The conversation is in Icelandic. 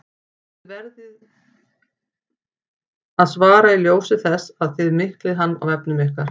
Þessu verðið þið að svara í ljósi þess að þið miklið hann á vefnum ykkar!